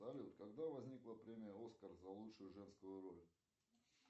салют когда возникла премия оскар за лучшую женскую роль